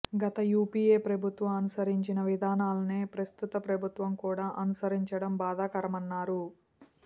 గత యూపీఏ ప్రభుత్వం అనుసరించిన విధానాలనే ప్రస్తుత ప్రభుత్వం కూడా అనుసరించటం బాధాకరమన్నారు